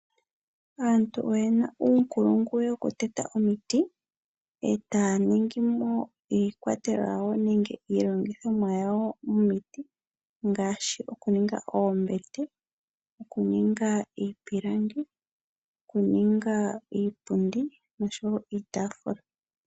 Aantu oye na uunkulungu wokuteta omiti e ta ya ningi mo iikwatelwa yawo nenge iilongithomwa yawo miiti ngaashi okuninga oombete, okuninga iipilangi, okuninga iipundi, osho wo iitafula.